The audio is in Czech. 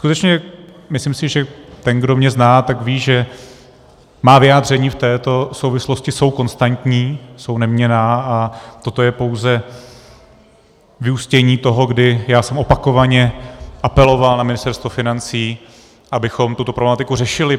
Skutečně, myslím si, že ten, kdo mě zná, tak ví, že má vyjádření v této souvislosti jsou konstantní, jsou neměnná, a toto je pouze vyústění toho, kdy já jsem opakovaně apeloval na Ministerstvo financí, abychom tuto problematiku řešili.